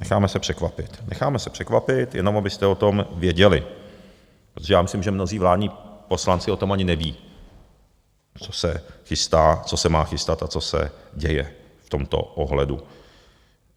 Necháme se překvapit, necháme se překvapit, jenom abyste o tom věděli, protože já myslím, že mnozí vládní poslanci o tom ani neví, co se chystá, co se má chystat a co se děje v tomto ohledu.